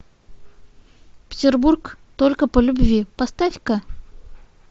петербург только по любви поставь ка